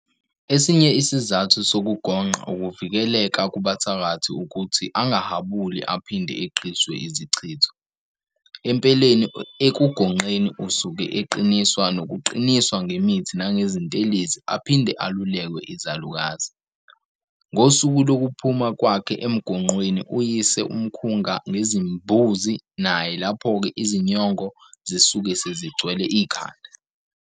Esinye isizathu sokugonqa ukuvikeleka kubathakathi ukuthi angahabuli aphinde eqiswe izichitho, empeleni ekugonqeni usuke eqiniswa nokuqiniswa ngemithi nangezintelezi aphinde alulekwe izalukazi. Ngosuku lokuphuma kwakhe emgonqweni uyise umkhunga ngezimbuzi naye laphoke izinyongo zisuke sezigcwele ikhanda.